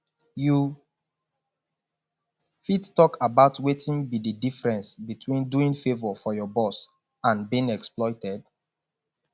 you fit talk about wetin be di difference between doing favor for your boss and being exploited